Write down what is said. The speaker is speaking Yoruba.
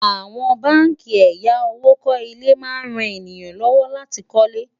àwọn bánkì àyà owó kò ilé má ń ràn èyán ló wò láti kò lè